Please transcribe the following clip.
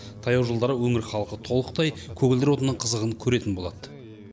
таяу жылдары өңір халқы толықтай көгілдір отынның қызығын көретін болады